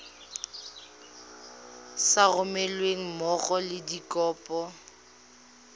sa romelweng mmogo le dikopo